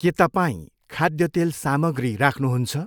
के तपाईँ खाद्य तेल सामग्री राख्नुहुन्छ?